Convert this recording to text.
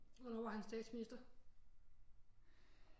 Hvornår var han statsminister